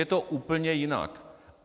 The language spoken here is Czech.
Je to úplně jinak.